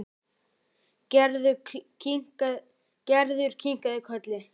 Gerður kinkaði kolli.